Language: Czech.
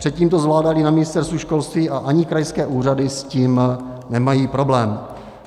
Předtím to zvládali na Ministerstvu školství a ani krajské úřady s tím nemají problém.